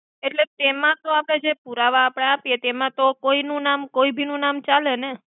એટ્લે તેમા તો આપડે જે પુરાવા આપિએ તેમા તો કોઈ ભી નુ નામ ચાલે ને.